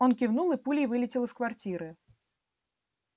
он кивнул и пулей вылетел из квартиры